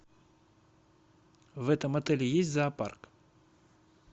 в этом отеле есть зоопарк